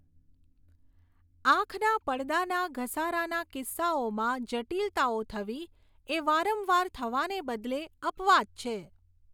આંખના પડદાના ઘસારાના કિસ્સાઓમાં જટિલતાઓ થવી એ વારંવાર થવાને બદલે અપવાદ છે.